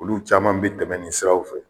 Olu caman be tɛmɛ nin siraw fɛ.